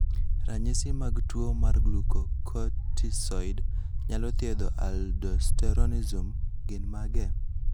Ranyisi mag tuo mar Glucocorticoid nyalo thiedho aldosteronism gin mage?